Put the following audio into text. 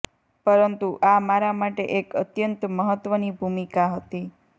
પરંતુ આ મારા માટે એક અત્યંત મહત્વની ભૂમિકા હતી